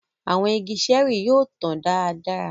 Àwọn ìgi ṣẹẹri yóò tàn dáradára